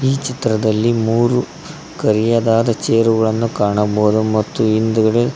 ಈ ಚಿತ್ರದಲ್ಲಿ ಮೂರು ಕರಿಯದಾದ ಚೇರುಗಳನ್ನು ಕಾಣಬಹುದು ಮತ್ತು ಹಿಂದುಗಡೆ.